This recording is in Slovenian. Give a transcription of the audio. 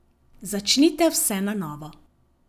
Začnite vse na novo.